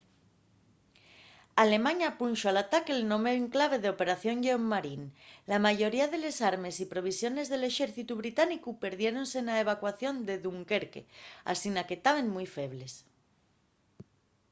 alemaña punxo al ataque'l nome en clave de operación lleón marín”. la mayoría de les armes y provisiones del exércitu británicu perdiérense na evacuación de dunquerque asina que taben mui febles